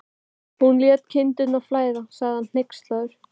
Hún lét kindurnar flæða, sagði hann hneykslaður.